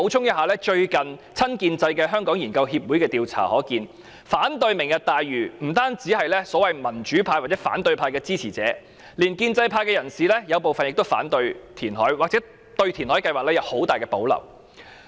根據親建制的香港研究協會最近進行的調查，反對"明日大嶼"的不單包括所謂民主派或反對派支持者，有部分建制派人士也反對填海，或對填海計劃有很大保留。